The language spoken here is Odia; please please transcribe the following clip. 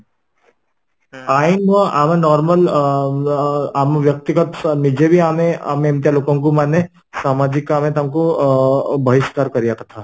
ଆଇନ ନୁହଁ ଆମ normal ଅ ବ୍ୟକ୍ତି ଆମେ ନିଜେ ବି ଆମେ ଏମିତିଆ ଲୋକଙ୍କୁ ମାନେ ସାମାଜିକ ତାଙ୍କୁ ଅ ଭରିସ୍କାର କରିବା କଥା